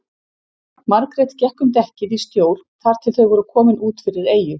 Margrét gekk um dekkið í stjór þar til þau voru komin út fyrir eyju.